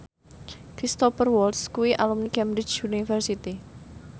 Cristhoper Waltz kuwi alumni Cambridge University